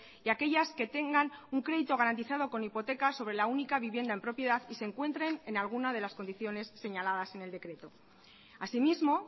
y aquellas que tengan un crédito garantizado con hipoteca sobre la única vivienda en propiedad y se encuentren en alguna de las condiciones señaladas en el decreto así mismo